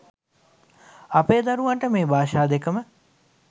අපේ දරුවන්ට මේ භාෂා දෙක ම